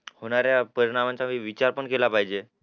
होणाऱ्या परिणामांचा विचारही केला पाहिजे